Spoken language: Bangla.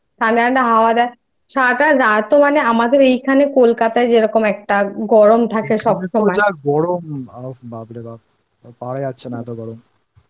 এদিকে তো যা গরম বাপরে বাপ আর পারা যাচ্ছে না এতো গরমI